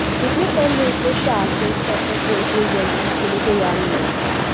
इतने कम रेट में शासन स्तर पर कोई भी एजेंसी इसके लिए तैयार नहीं हुई